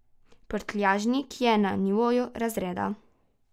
Prtljažnik je na nivoju razreda.